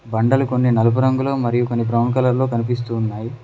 బండలు కొన్ని నలుపు రంగులో మరియు కొన్ని బ్రౌన్ కలర్ లో కనిపిస్తూ ఉన్నాయి.